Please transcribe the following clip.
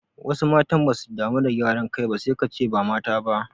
Wasu matan basu damuwa da gyaran kai sai kace ba mata ba